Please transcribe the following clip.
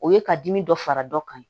O ye ka dimi dɔ fara dɔ kan